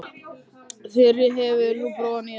Þyri, hefur þú prófað nýja leikinn?